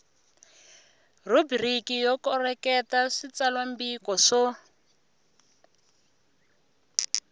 rhubiriki yo koreketa switsalwambiko swo